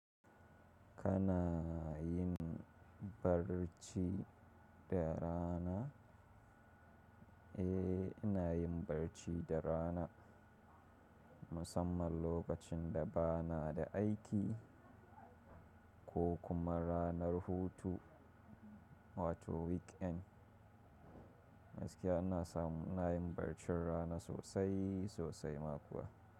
Kana yin barci da rana? Eh, ina yin barci da rana. Musamman lokacin da bana da aiki. Ko kuma ranar hutu wato weekend. Gaskiya ina samu ina yin barcin rana sosai sosai ma kuwa.